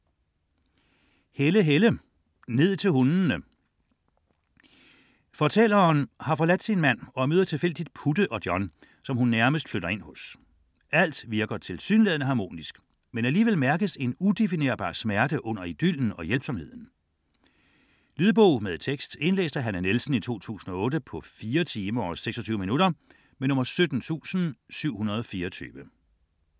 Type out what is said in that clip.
Helle, Helle: Ned til hundene Fortælleren har forladt sin mand og møder tilfældigt Putte og John, som hun nærmest flytter ind hos. Alt virker tilsyneladende harmonisk, men alligevel mærkes en udefinerbar smerte under idyllen og hjælpsomheden. Lydbog med tekst 17724 Indlæst af Hanne Nielsen, 2008. Spilletid: 4 timer, 26 minutter.